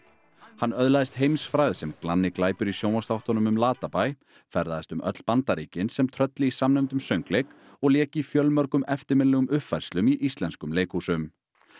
hann öðlaðist heimsfrægð sem glanni glæpur í sjónvarpsþáttunum um Latabæ ferðaðist um öll Bandaríkin sem Trölli í samnefndum söngleik og lék í fjölmörgum eftirminnilegum uppfærslum í íslensku leikhúsunum